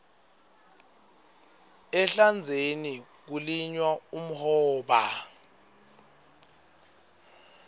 ehlandzeni kulinywa umhoba